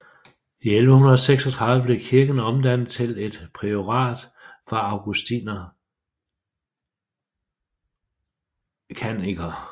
I 1136 blev kirken omdannet til et priorat for augustinerkannikker